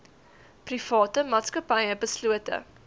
private maatskappye beslote